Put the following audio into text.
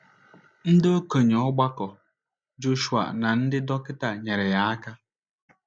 Ndị okenye ọgbakọ Joshua na ndị dọkịta nyeere ya aka.